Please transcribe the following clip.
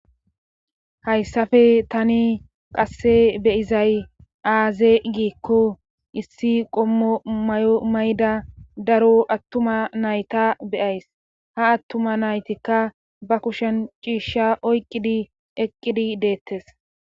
hayssappe tani qasse be'izay aaze giikko issi qommo mayo mayda daro attuma nayta beyays ha attuma naytikka ba kushen ciishsha oyqqidi eqqidi deettes